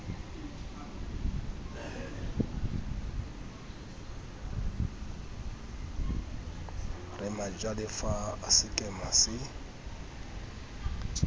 re majalefa a sekema se